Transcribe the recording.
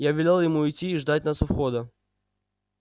я велел ему идти и ждать нас у выхода